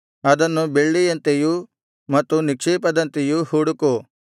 ಅದನ್ನು ಬೆಳ್ಳಿಯಂತೆಯು ಮತ್ತು ನಿಕ್ಷೇಪದಂತೆಯು ಹುಡುಕು